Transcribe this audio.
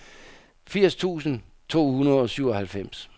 firs tusind to hundrede og syvoghalvfems